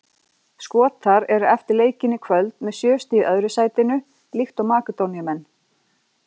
Skotar eru eftir leikinn í kvöld með sjö stig í öðru sætinu líkt og Makedóníumenn.